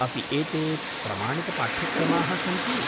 अपि एते प्रमाणितपाठ्यक्रमाः सन्ति?